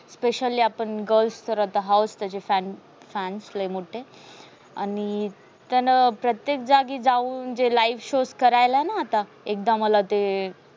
specially आपण girls तर आता हाओस. त्याचे सारे fans लय मोठे प्रत्येक जागी जाऊन जे live show करायला ना आता. एकदा मला ते